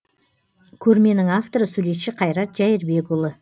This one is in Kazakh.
көрменің авторы суретші қайрат жәйірбекұлы